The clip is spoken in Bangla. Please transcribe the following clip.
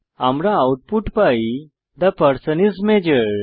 আমরা আউটপুট পাই থে পারসন আইএস মাজোর